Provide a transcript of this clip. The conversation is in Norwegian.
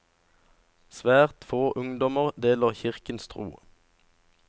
Svært få ungdommer deler kirkens tro.